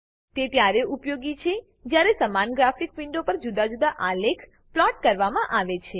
તે ત્યારે ઉપયોગી છે જયારે સમાન ગ્રાફિક વિન્ડો પર જુદા આલેખ પ્લોટ કરવામાં આવે છે